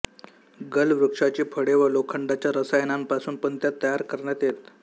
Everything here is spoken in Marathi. गल वृक्षाची फळे व लोखंडाच्या रसायनांपासून पण त्या तयार करण्यात येत